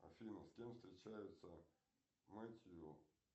афина с кем встречается метью